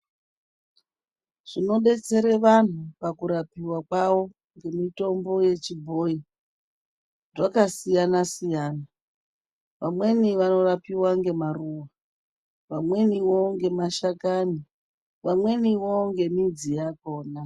Zvinobetsere vanhu pakurapiwa kwavo ngemutombo wechibhoyi zvakasiyana siyana. Vamweni vanorapiwa ngema ruwa, vamweniwo ngemashakani, vamweniwo ngemidzi yakona.